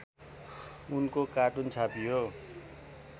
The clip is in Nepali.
उनको कार्टुन छापियो